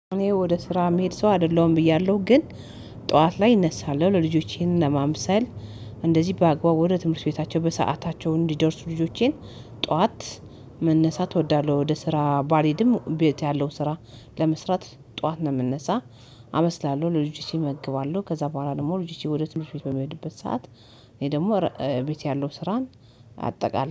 እኔ ወደ ስራ ምሄድ ሰው አይደለሁም ብያለሁ ግን ጠዋት ላይ እነሳለሁ ለልጆቼን ለማምሰል እንደዚህ በአግባቡ ወደ ትምህርት ቤታቸው በሰአታቸው እንዲደርሱ ልጆቼን። ጠዋት መነሳት እወዳለሁ። ወደ ስራ ባልሄድም ቤት ያለው ስራ ለመስራት ጠዋት ነው የምነሳ። አበስላለሁ ለልጆቼ እመግባለሁ ከዛ በኋላ ደግሞ ልጆቼ ወደ ትምህርት ቤት በሚሄድበት ሰዓት እኔ ደግሞ ቤት ያለው ስራን አጠቃላይ